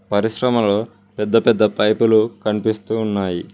పరిశ్రమలో పెద్ద పెద్ద పైపులు కనిపిస్తూ ఉన్నాయి.